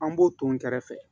An b'o ton kɛrɛfɛ